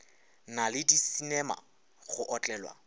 na le disinema go otlelwa